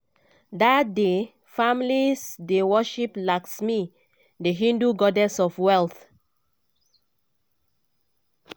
dat day families dey worship lakshmi di hindu goddess of wealth.